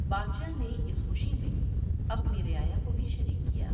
بادشاہ نے اس خوشی میں اپنی رعایا کو بھی شریک کیا ۔